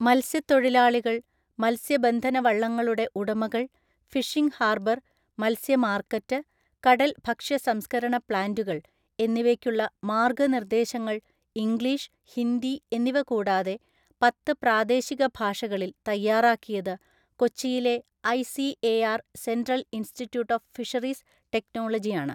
മത്സ്യത്തൊഴിലാളികള്‍, മത്സ്യബന്ധനവള്ളങ്ങളുടെ ഉടമകള്‍, ഫിഷിംഗ്ഹാര്‍ബര്‍, മത്സ്യമാര്‍ക്കറ്റ്, കടല്‍ ഭക്ഷ്യ സംസ്കരണ പ്ലാന്റുകള്‍ എന്നിവയ്ക്കുള്ള മാർഗനിർദേശങ്ങള്‍ ഇംഗ്ലീഷ്, ഹിന്ദി എന്നിവ കൂടാതെ പത്ത് പ്രാദേശിക ഭാഷകളില്‍ തയ്യാറാക്കിയത് കൊച്ചിയിലെ ഐ.സി.എ.ആര്‍. Central‍ institute of ഫിഷറീസ്ടെക്നോളജിയാണ്.